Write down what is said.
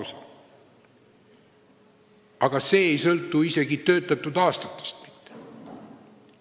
See aga ei sõltu isegi töötatud aastatest mitte.